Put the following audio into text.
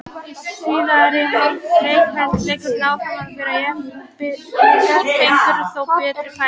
Í síðari hálfleik hélt leikurinn áfram að vera jafn en Blikar fengu þó betri færi.